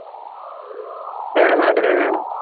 എടെ നാട്ടിലെന്നെയാണോ